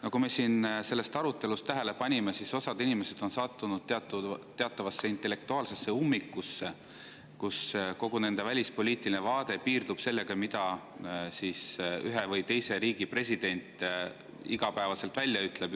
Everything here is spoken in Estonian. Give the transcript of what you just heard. Nagu me siin sellest arutelust tähele panime, on osa inimesi sattunud teatavasse intellektuaalsesse ummikusse, kus kogu nende välispoliitiline vaade piirdub sellega, mida ühe või teise riigi president iga päev välja ütleb.